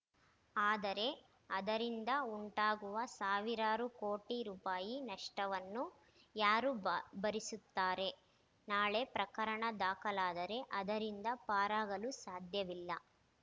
ಆದರೆ ಅದರಿಂದ ಉಂಟಾಗುವ ಸಾವಿರಾರು ಕೋಟಿ ರುಪಾಯಿ ನಷ್ಟವನ್ನು ಯಾರು ಭಾ ಭರಿಸುತ್ತಾರೆ ನಾಳೆ ಪ್ರಕರಣ ದಾಖಲಾದರೆ ಅದರಿಂದ ಪಾರಾಗಲು ಸಾಧ್ಯವಿಲ್ಲ